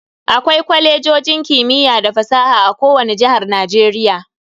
Akwai Kwalejojin kimiyya da fasaha a kowani jihar Najeriya.